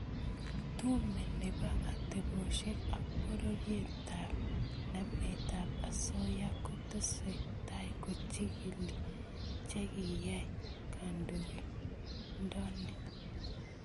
Tume nebo atebosiek ak borietap nametab osoya kotesetai kochigili che kiyai kandoindoni